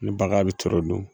Ni baga bi toro dun.